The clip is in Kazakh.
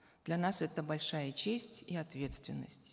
для нас это большая честь и ответственность